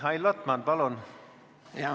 Mihhail Lotman, palun!